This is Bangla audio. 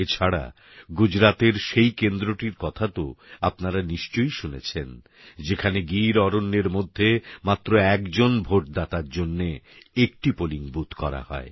এছাড়া গুজরাতের সেই কেন্দ্রটির কথাতো আপনারা নিশ্চয়ই শুনেছেন যেখানে গিরঅরণ্যের মধ্যে মাত্র একজন ভোটদাতার জন্যে একটি পোলিং বুথ করা হয়